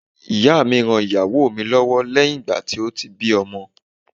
Ìyá mi ran ìyàwó mi lọ́wọ́ lẹ́yìn ìgbà tí ó bí ọmọ.